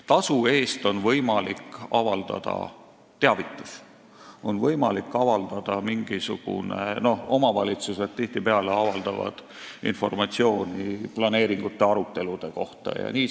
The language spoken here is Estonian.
Tasu eest on võimalik avaldada teavitust – omavalitsused avaldavad tihtipeale informatsiooni planeeringute arutelude kohta jms.